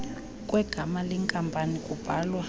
kwegama lenkampani kubhalwa